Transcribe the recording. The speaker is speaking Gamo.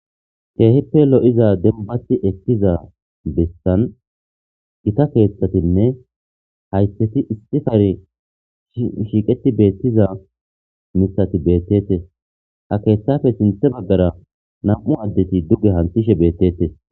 keehippe lo7iza dembati ekkiza bessan gita keeththatinne haytheti istikari shiiqeti beettiza mithati beettete ha keeththafe sinthe baggara nam7u addeti dugge hantishe beettete